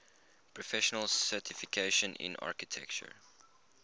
professional certification in architecture